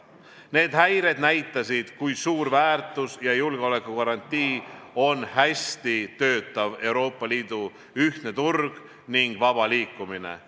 Need häired näitasid, kui suur väärtus ja julgeolekugarantii on hästi töötav Euroopa Liidu ühtne turg ning vaba liikumine.